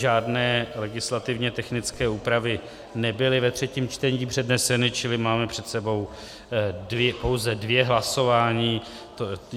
Žádné legislativně technické úpravy nebyly ve třetím čtení předneseny, čili máme před sebou pouze dvě hlasování.